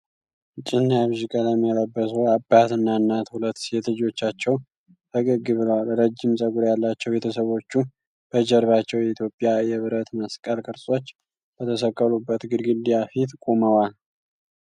ጭ እና ቢዥ ቀለም የለበሱ አባት፣ እናትና ሁለት ሴት ልጆቻቸው ፈገግ ብለዋል። ረጅም ጸጉር ያላቸው ቤተሰቦቹ በጀርባቸው የኢትዮጵያ የብረት መስቀል ቅርጾች በተሰቀሉበት ግድግዳ ፊት ቆመዋል።